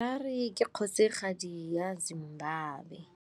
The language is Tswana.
Harare ke kgosigadi ya Zimbabwe.